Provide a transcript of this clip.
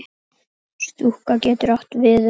Stúka getur átt við um